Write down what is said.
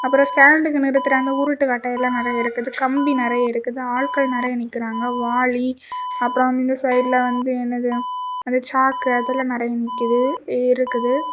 அப்புறம் ஸ்டாண்ட்க்கு நிறுத்துற அந்த உருட்டுக்கட்டை எல்லாம் நிறைய இருக்குது கம்பி நிறைய இருக்குது ஆட்கள் நிறைய நிக்கிறாங்க வாழி அப்புறம் இந்த சைடுல வந்து என்னது அந்த சாக்கு அதெல்லாம் நிறைய நிக்கிது இருக்குது.